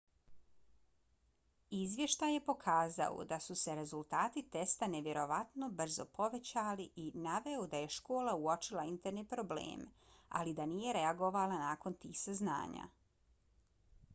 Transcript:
izvještaj je pokazao da su se rezultati testa nevjerovatno brzo povećali i naveo da je škola uočila interne probleme ali da nije reagovala nakon tih saznanja